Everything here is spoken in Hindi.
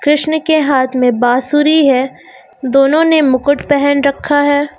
कृष्ण के हाथ में बांसुरी है दोनों ने मुकुट पहन रखा है।